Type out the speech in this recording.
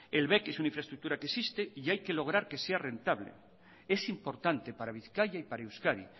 el bec es una infraestructura que existe y hay que lograr que sea rentable es importante para bizkaia y para euskadi